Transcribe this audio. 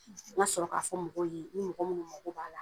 ŋa sɔrɔ k'a fɔ mɔgɔw ye ni mɔgɔ munnu magɔ b'a la